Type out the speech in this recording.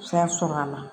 Fɛn sɔrɔ a la